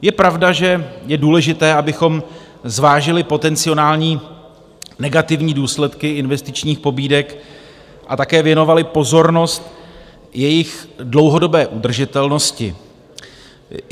Je pravda, že je důležité, abychom zvážili potenciální negativní důsledky investičních pobídek a také věnovali pozornost jejich dlouhodobé udržitelnosti.